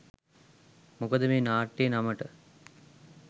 මොකද මේ නාට්‍යයේ නමට